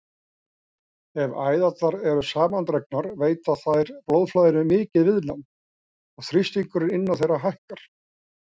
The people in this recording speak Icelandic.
Ef æðarnar eru samandregnar veita þær blóðflæðinu mikið viðnám og þrýstingur innan þeirra hækkar.